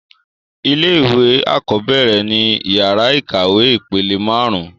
Ilé-ìwé àkọ́bẹ́ẹ̀rẹ̀ ni yàrá ìkàwé ìpele máarun